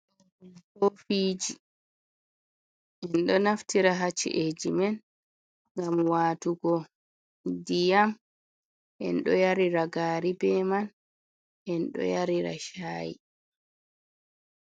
Kofiji, en ɗo naftira ha ci'eji men, ngam watugo ndiyam en ɗo yarira gari be man, en ɗo yarira shaayi.